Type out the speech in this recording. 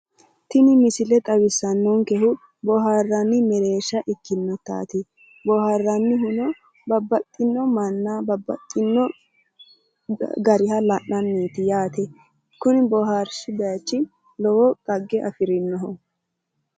Tini misile xawisanohu booharanni Mereersha ikkasinna dhaggete daa"ato noo base ikkase leelishano baseti